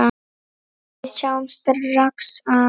Við sjáum strax að